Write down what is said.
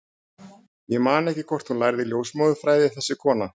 Ég man ekki hvort hún lærði ljósmóðurfræði, þessi kona.